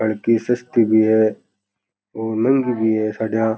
हलकी सस्ती भी है और महँगी भी है साड़ियां।